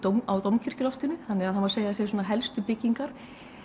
á Dómkirkjuloftinu þannig að það má segja að það séu svona helstu byggingar